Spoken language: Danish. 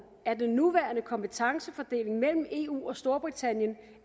at den nuværende kompetencefordeling mellem eu og storbritannien